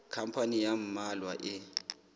khampani ya ba mmalwa e